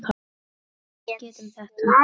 Við getum það.